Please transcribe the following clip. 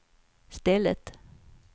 stället